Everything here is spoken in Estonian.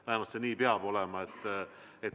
Vähemalt nii see peab olema.